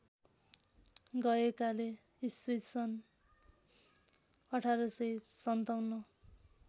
गएकाले ईस्वीसन् १८५७